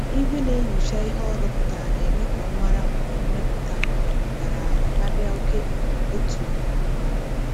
Igwe na-enyocha ihe o rụpụtara na-eme ka ọ mara mgbe mmepụta um dara ala karịa oke um e tụrụ. um